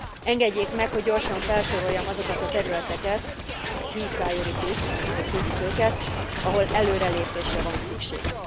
Engedjék meg, hogy gyorsan felsoroljam azokat a területeket key priorities, ahogy hívjuk őket ahol előrelépésre van szükség.